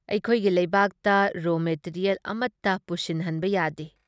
ꯑꯩꯈꯣꯏꯒꯤ ꯂꯩꯕꯥꯛꯇ ꯔꯣ ꯃꯦꯇꯤꯔꯤꯌꯦꯜ ꯑꯃꯇ ꯄꯨꯁꯤꯟꯍꯟꯕ ꯌꯥꯗꯦ ꯫